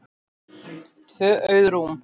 Tvö auð rúm.